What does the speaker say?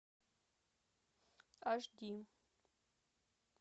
аш ди